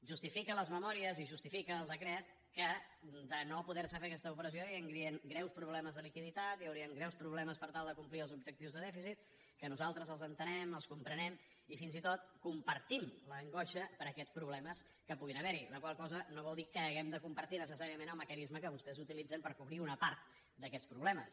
justifiquen les memòries i justifica el decret que si no es pot fer aquesta operació hi haurien greus problemes de liquiditat hi haurien greus problemes per tal de complir els objectius de dèficit que nosaltres els entenem els comprenem i fins i tot compartim l’angoixa per aquests problemes que puguin haver hi la qual cosa no vol dir que hàgim de compartir necessàriament el mecanisme que vostès utilitzen per cobrir una part d’aquests problemes